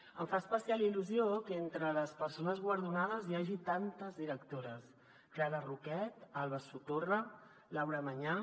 em fa especial il·lu·sió que entre les persones guardonades hi hagi tantes directores clara roquet alba sotorra laura mañá